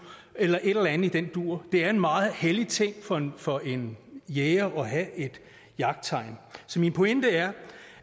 eller et eller andet i den dur det er en meget hellig ting for en for en jæger at have jagttegn så min pointe er